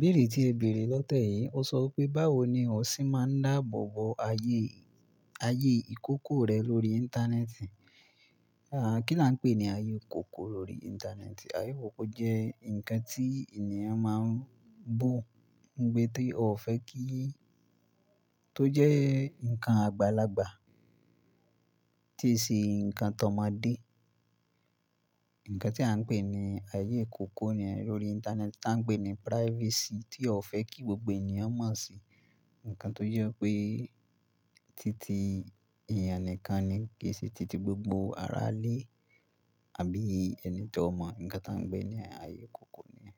Bẹ̀rẹ̀ tí ẹ bèrè lọ́tẹ yìí, ó sọ pé báwo ni o ṣe máa ń dáàbò bo ayé, ayé ìkòkò rẹ lórí Íńtánẹ́ẹ̀tì? Àá, kí là ń pè ní ayé ìkòkò lórí Íńtánẹ́ẹ̀tì? Ayé ìkòkò jẹ́ ǹkan tí ènìyàn máa ń bó, ǹ pé tí o fẹ́ kí-- tó jẹ́ ǹkan àgbàlagbà tí ṣe ǹkan tọ̀ omodé. Ǹkan tí à ń pè ní ayé ìkòkò ni lórí Íńtánẹ́ẹ̀tì tá ń pè ní privacy tí o fẹ́ kí gbogbo ènìyàn mọ̀ sí. Ǹkan tó jẹ́ pé títí èèyàn nìkan ni kì í ṣe títí gbogbo ará lé àbí ẹni tó mọ̀. Ǹkan tá ń pè ní ayé ìkòkò ni.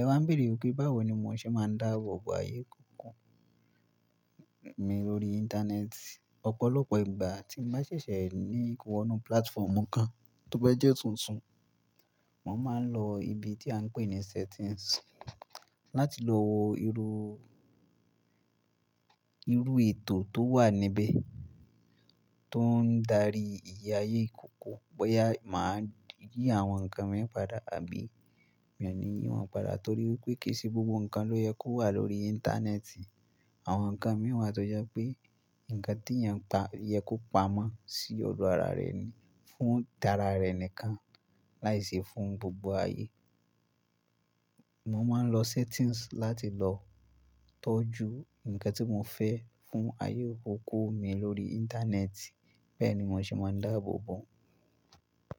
Ẹwà ń bèrè pé báwo ni mo ṣe máa ń dáàbò bo ayé ìkòkò mi lórí Íńtánẹ́ẹ̀tì. Ọ̀pọ̀lọpọ̀ ìgbà tí mo bá ṣẹ̀ṣẹ̀ ní ìkọwọ́nú platform kan tó bá jẹ́ tuntun, mò ń máa ń lọ ibi tí à ń pè ní settings láti lọ wo irú, irú ètò tó wà níbẹ̀ tó ń darí ìyè ayé ìkòkò. Bóyá mà á yí àwọn ǹkan mìíràn padà àbí mi ò ní yín wọn padà. Nítorí wípé kì í ṣe gbogbo ǹkan ló yẹ kó wà lórí Íńtánẹ́ẹ̀tì. Àwọn ǹkan mìíràn wa tó jẹ́ pé ǹkan tí èèyàn pa-- yẹ kó pamọ́ sí ọ̀dọ̀ ara rẹ ni, fún ara rẹ nìkan láì ṣe fún gbogbo ayé. Mo máa ń lọ settings láti lọ tọ́jú ǹkan tí mo fẹ́ fún ayé ìkòkò mi lórí Íńtánẹ́ẹ̀tì. Bẹ́ẹ̀ ni mò ń ṣe máa ń dáàbò bo.